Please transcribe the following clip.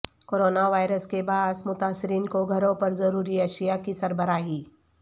corona virus کے باعث متاثرین کو گھروں پر ضروری اشیاء کی سربراہی